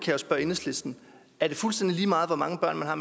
jo spørge enhedslisten er det fuldstændig lige meget hvor mange børn man har